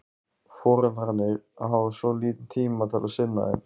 Foreldrarnir hafa svo lítinn tíma til að sinna þeim.